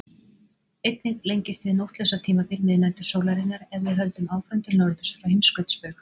Einnig lengist hið nóttlausa tímabil miðnætursólarinnar ef við höldum áfram til norðurs frá heimskautsbaug.